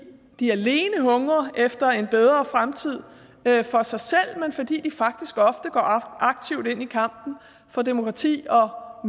de alene hungrer efter en bedre fremtid for sig selv men fordi de faktisk ofte går aktivt ind i kampen for demokrati og